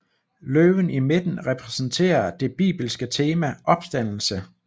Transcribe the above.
Løven i midten repræsenterer det bibelske tema opstandelse